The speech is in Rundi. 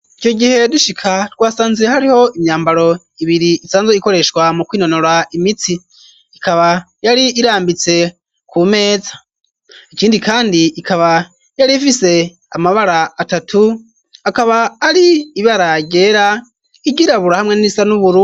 Ico gihe dushika twasanziwe hariho imyambaro ibiri isanze ikoreshwa mu kwinonora imitsi ikaba yari irambitse ku meza ikindi kandi ikaba yari ifise amabara atatu akaba ari ibaragera igira bura hamwe n'isanuburu.